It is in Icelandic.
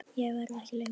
Ég verð ekki lengi